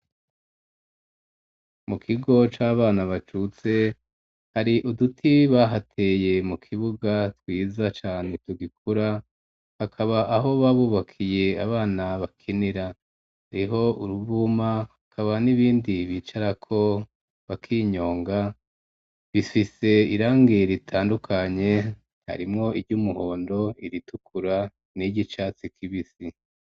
Mu kigo c'abana bacutse, hari uduti bahateye mu kibuga twiza cane tugikura, hakaba aho babubakiye abana bakinira, hariho uruvuma, hakaba n'ibindi bicarako bakinyonga, bifise irangi ritandukanye, harimwo iry'umuhondo, iritukura n'iry'icatsi kibisi.